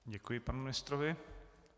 Děkuji panu ministrovi.